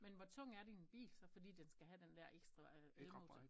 Men hvor tung er din bil så fordi den skal have den der ekstra øh elmotor?